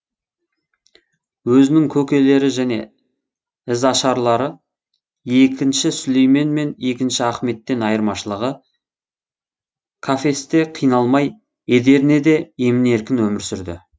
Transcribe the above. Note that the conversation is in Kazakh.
өзінің көкелері және ізашарлары екінші сүлеймен мен екінші ахметтен айырмашылығы кафесте қамалмай эдирнеде емін еркін өмір сүрді